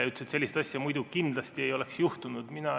Ta ütles, et sellist asja muidu kindlasti ei oleks juhtunud.